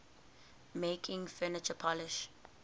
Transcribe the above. making furniture polish